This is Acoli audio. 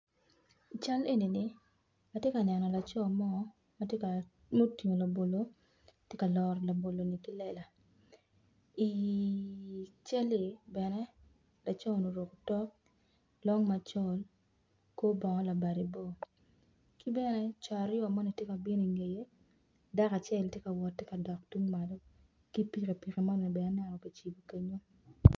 I cal enini atye kaneno laco mo mutingo labolo tye ka loro ki lela i calli bene laco ni oruko otok long macol kor bongo labade bor ki bene co aryo moni gitye ka bino i ngeye dako acel tye ka wot dok tung malo ki pikipiki moni bene kicibo kenyu.